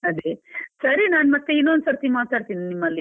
ಅದೇ, ಸರಿ ನಾನ್ ಮತ್ತೆ ಇನ್ನೊಂದು ಸರ್ತಿ ಮಾತಾಡ್ತೀನಿ ನಿಮ್ಮಲ್ಲಿ.